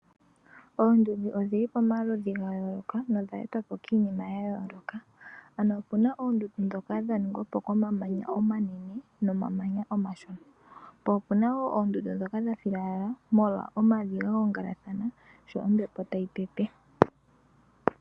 Oondundu odhili pomaludhi ga yooloka na odha etwapo kiinima ya yooloka, ano opena oondundu dhoka dha ningwapo komamanya omanene nomamanya omashona, po opuna oondundu dhoka dha filala molwa omavi ga gongelathana sho ombepo tayi pepe.